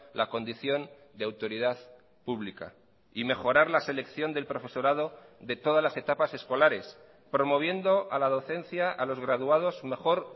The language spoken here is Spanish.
la condición de autoridad pública y mejorar la selección del profesorado de todas las etapas escolares promoviendo a la docencia a los graduados mejor